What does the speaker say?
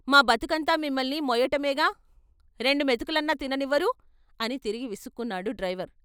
మా బతుకంతా మిమ్మల్ని మొయ్యటమేగా రెండు మెతుకులన్నా తిననివ్వరు అని తిరిగి విసుక్కున్నాడు డ్రైవరు.